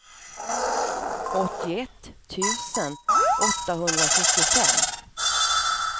åttioett tusen åttahundrasjuttiofem